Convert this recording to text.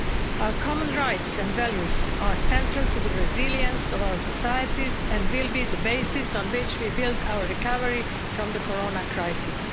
Our common rights and values are central to the resilience of our societies and will be the basis on which we build our recovery from the corona crisis.